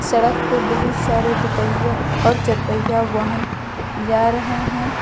सड़क पे बहुत सारे दुपहिया और चार पहिया वाहन जा रहे हैं।